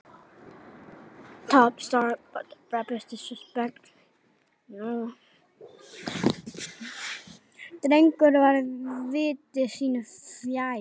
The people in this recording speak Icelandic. Drengur var viti sínu fjær.